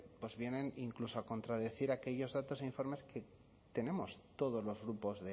pues vienen incluso a contradecir aquellos datos e informes que tenemos todos los grupos